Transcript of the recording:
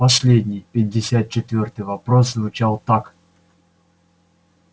последний пятьдесят четвёртый вопрос звучал так